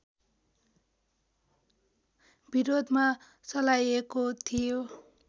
विरोधमा चलाइएको थियो